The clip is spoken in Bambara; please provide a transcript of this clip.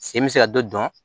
Sen bɛ se ka dɔ dɔn